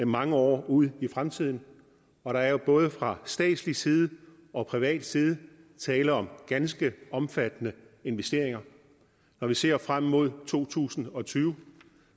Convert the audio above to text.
mange år ud i fremtiden og der er jo både fra statslig side og privat side tale om ganske omfattende investeringer når vi ser frem mod to tusind og tyve